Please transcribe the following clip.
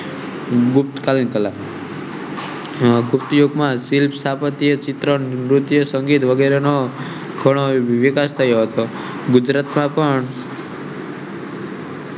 ગુપ્ત કાલ ની કળા ભૂત યુગ માં શિલ્પકારો, નુર્ત્ય, સંગીતકારો નો ઘણો વિકાસ થયો હતો. ગુજરાતમાં પન